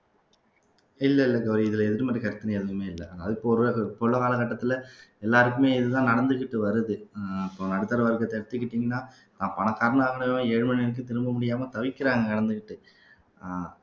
இல்ல இல்ல கௌரி இதுல எதிர்மறை கற்பனை எதுவுமே இல்ல அது போக இப்பவுள்ள காலகட்டத்துல எல்லாருக்குமே இதுதான் நடந்துகிட்டு வருது உம் இப்ப நடுத்தர வர்க்கத்தை எடுத்துக்கிட்டீங்கன்னா நான் பணக்காரனா இருந்தவன் ஏழு மணி திரும்ப முடியாமல் தவிக்கிறாங்க கடந்துகிட்டு அஹ்